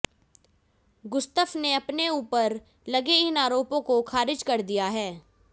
Gustaf ने अपने ऊपर लगे इन आरोपों को खारिज कर दिया है